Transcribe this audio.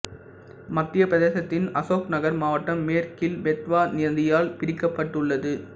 மத்தியப் பிரதேசத்தின் அசோக்நகர் மாவட்டம் மேற்கில் பெத்வா நதியால் பிரிக்கப்பட்டுள்ளது